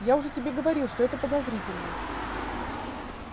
я уже тебе говорил что это подозрительно